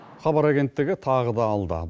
хабар агенттігі тағы да алда